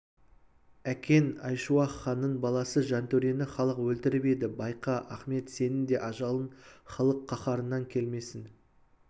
әкең айшуақ ханның баласы жантөрені халық өлтіріп еді байқа ахмет сенің де ажалың халық қаһарынан келмесін